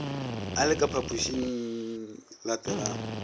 a le ka phaphošingye elatelago